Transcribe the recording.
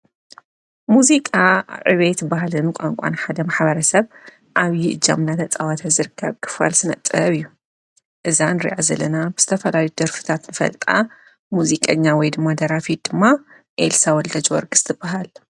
ሙዚቃ ዕቤት በህልን ቋንቋን ሓደ ማሓበረ ሰብ ኣብዪ እጃም እናተጸዋተ ዘርከብ ክፍል ስነ-ጥበብ እዩ እዛን ንርኣ ዝለና ተፈታዊት ደርፍታትንፈልጣ ሙዚቀኛ ወይ ድማ ደራፊት ድማ ኤልሳ ወልደጅ ወርግሥቲ ትበሃል።